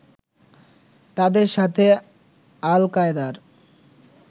তাদের সাথে আল কায়দার